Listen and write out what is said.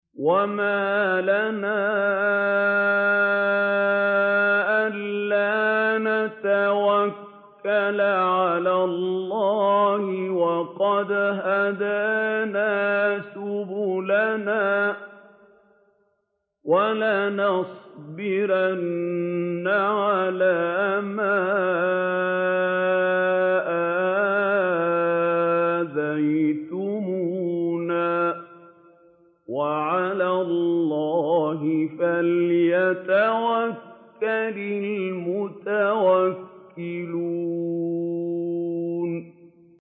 وَمَا لَنَا أَلَّا نَتَوَكَّلَ عَلَى اللَّهِ وَقَدْ هَدَانَا سُبُلَنَا ۚ وَلَنَصْبِرَنَّ عَلَىٰ مَا آذَيْتُمُونَا ۚ وَعَلَى اللَّهِ فَلْيَتَوَكَّلِ الْمُتَوَكِّلُونَ